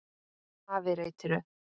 Afi reytir upp.